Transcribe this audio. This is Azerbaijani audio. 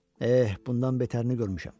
Eh, bundan betərini görmüşəm.